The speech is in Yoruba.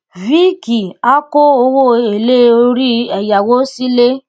viiki a ko owo ele ori eyawo sile